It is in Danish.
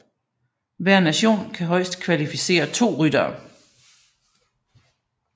Hver nation kan højst kvalificere to ryttere